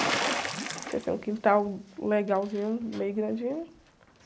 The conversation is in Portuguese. Tinha, assim, um quintal legalzinho, meio grandinho.